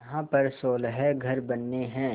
यहाँ पर सोलह घर बनने हैं